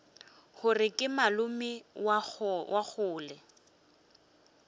gore ke malome wa kgole